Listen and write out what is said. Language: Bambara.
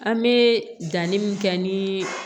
An bɛ danni min kɛ ni